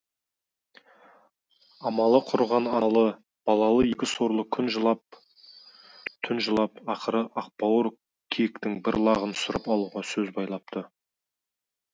амалы құрыған аналы балалы екі сорлы күн жылап түн жылап ақыры ақбауыр киіктің бір лағын сұрап алуға сөз байлапты